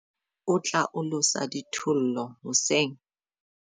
O tla olosa dithollo hoseng.